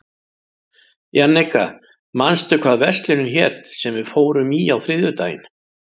Jannika, manstu hvað verslunin hét sem við fórum í á þriðjudaginn?